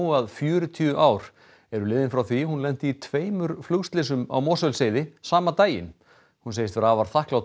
að fjörutíu ár eru liðin frá því hún lenti í tveimur flugslysum á Mosfellsheiði saman daginn hún segist vera afar þakklát